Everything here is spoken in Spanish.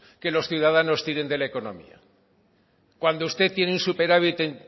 que los ciudadanos tiren de la economía cuando usted tiene un superávit en